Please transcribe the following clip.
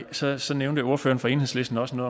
så så nævnte ordføreren fra enhedslisten også